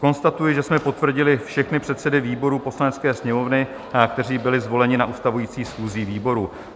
Konstatuji, že jsme potvrdili všechny předsedy výborů Poslanecké sněmovny, kteří byli zvoleni na ustavující schůzi výboru.